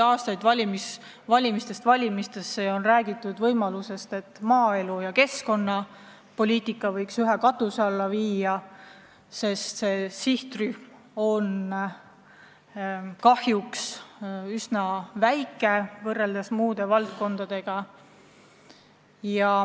Aastaid, valimistest valmisteni on räägitud, et maaelu ja keskkonnapoliitika võiks ühe katuse alla viia, sest need sihtrühmad on kahjuks üsna väikesed võrreldes muude valdkondadega.